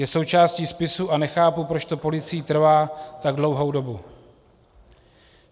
Je součástí spisu a nechápu, proč to policii trvá tak dlouhou dobu.